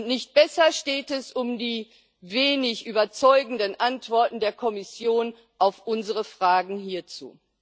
Nicht besser steht es um die wenig überzeugenden Antworten der Kommission auf unsere Fragen hierzu.